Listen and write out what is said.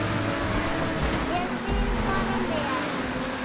Ég vil fara með.